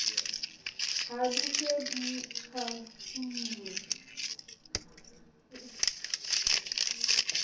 ha di se di tshwailwe